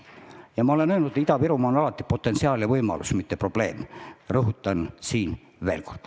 Ma olen alati öelnud, et Ida-Virumaa on potentsiaal, võimalus, mitte probleem, ja rõhutan seda veel kord.